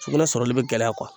Sugunɛ sɔrɔli bɛ gɛlɛya